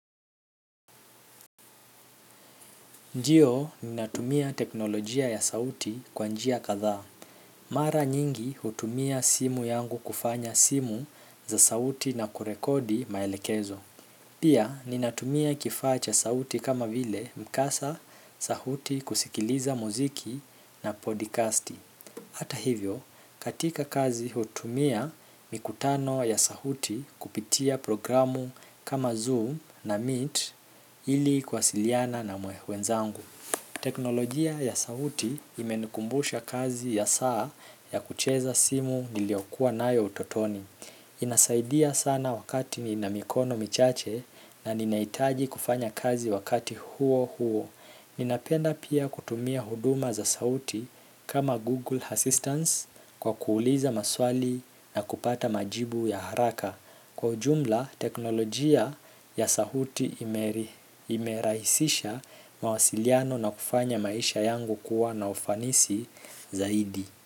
Ndio ninatumia teknolojia ya sauti kwa njia kadhaa. Mara nyingi hutumia simu yangu kufanya simu za sauti na kurekodi maelekezo. Pia ninatumia kifaa cha sauti kama vile mkasa sauti kusikiliza muziki na podcast. Hata hivyo katika kazi hutumia mikutano ya sauti kupitia programu kama Zoom na Meet ili kwasiliana na wenzangu. Teknolojia ya sauti imenikumbusha kazi ya saa ya kucheza simu niliokuwa nayo utotoni. Inasaidia sana wakati nina mikono michache na ninahitaji kufanya kazi wakati huo huo. Ninapenda pia kutumia huduma za sauti kama Google Assistance kwa kuuliza maswali na kupata majibu ya haraka. Kwa ujumla teknolojia ya sauti imerahisisha mawasiliano na kufanya maisha yangu kuwa na ufanisi zaidi.